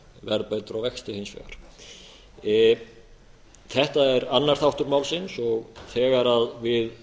verðbætur á vexti hins vegar þetta er annar þáttur málsins þegar við